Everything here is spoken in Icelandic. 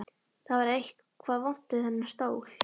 Það var eitthvað vont við þennan stól.